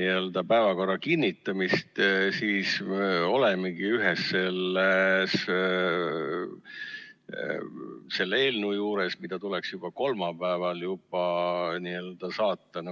päevakorra kinnitamist, siis olemegi ühe sellise eelnõu juures, mis tuleks juba kolmapäeval n-ö ellu saata.